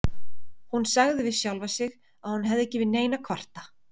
Hún sagði við sjálfa sig að hún hefði ekki yfir neinu að kvarta.